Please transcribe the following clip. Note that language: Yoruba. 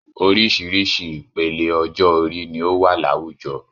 Oríṣiríṣi ìpele ọjọ orí ni o wa láwùjọ.